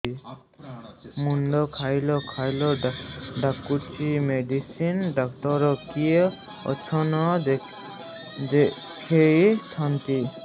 ମୁଣ୍ଡ ଖାଉଲ୍ ଖାଉଲ୍ ଡାକୁଚି ମେଡିସିନ ଡାକ୍ତର କିଏ ଅଛନ୍ ଦେଖେଇ ଥାନ୍ତି